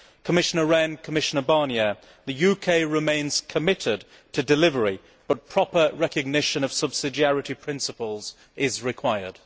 Commissioner Rehn, Commissioner Barnier, the UK remains committed to delivery, but proper recognition of subsidiarity principles is required.